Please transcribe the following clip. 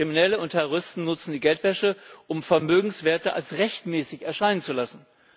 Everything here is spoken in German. Kriminelle und Terroristen nutzen die Geldwäsche, um Vermögenswerte als rechtmäßig erscheinen zu lassen.